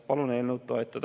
Palun eelnõu toetada.